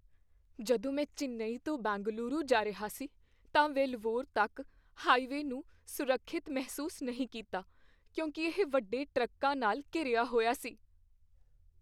ਜਦੋਂ ਮੈਂ ਚੇਨੱਈ ਤੋਂ ਬੈਂਗਲੁਰੂ ਜਾ ਰਿਹਾ ਸੀ ਤਾਂ ਵੇਲਵੋਰ ਤੱਕ ਹਾਈਵੇਅ ਨੂੰ ਸੁਰੱਖਿਅਤ ਮਹਿਸੂਸ ਨਹੀਂ ਕੀਤਾ ਕਿਉਂਕਿ ਇਹ ਵੱਡੇ ਟਰੱਕਾਂ ਨਾਲ ਘਿਰਿਆ ਹੋਇਆ ਸੀ।